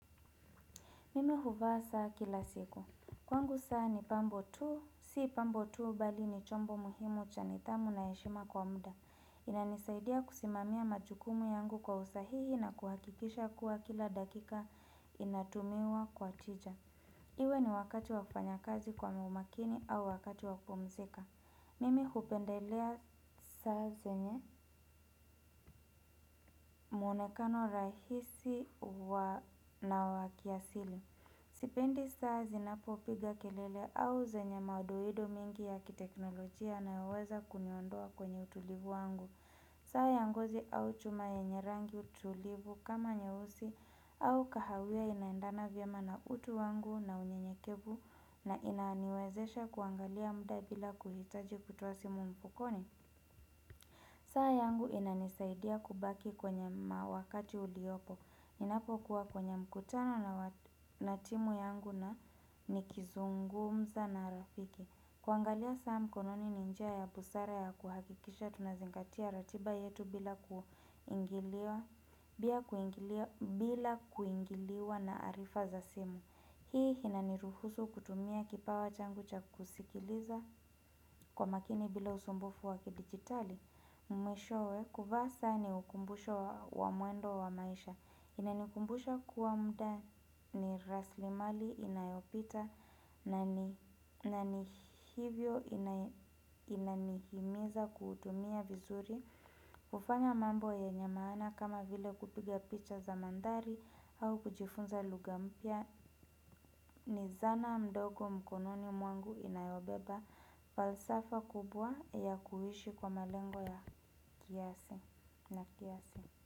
Mimi huvaa saa kila siku. Kwangu saa ni pambo tu, si pambo tu, bali ni chombo muhimu cha nidhamu na heshima kwa mda. Inanisaidia kusimamia majukumu yangu kwa usahihi na kuhakikisha kuwa kila dakika inatumiwa kwa tija. Iwe ni wakati wa kufanya kazi kwa muumakini au wakati wa kupumzika. Mimi hupendelea saa zenye muonekano rahisi na wakiasili. Sipendi saa zinapopiga kelele au zenye madoido mingi ya kiteknolojia yanayoweza kuniondoa kwenye utulivu wangu. Saa ya ngozi au chuma yenye rangi tulivu kama nyeusi au kahawia inaendana vyema na utu wangu na unyenyekevu na inaniwezesha kuangalia mda bila kuhitaji kutoasi mu mfukoni saa yangu inanisaidia kubaki kwenye mawakati uliopo, ninapokuwa kwenye mkutano na timu yangu na nikizungumza na rafiki. Kuangalia saa mkononi ninjia ya busara ya kuhakikisha tunazingatia ratiba yetu bila kuingiliwa na arifa za simu. Hii inaniruhusu kutumia kipawa changucha kusikiliza kwa makini bila usumbufu wakidigitali Mwishowe kuvaa saa ni ukumbusho wa mwendo wa maisha Inanikumbusha kuwa mda ni raslimali inayopita na ni hivyo inanihimiza kutumia vizuri hUfanya mambo yenye maana kama vile kupiga picha za mandhari au kujifunza luga mpya ni zana mdogo mkononi mwangu inayobeba falsafa kubwa ya kuishi kwa malengo ya kiasi na kiasi.